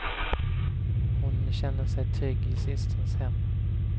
Hon känner sig trygg i systerns hem.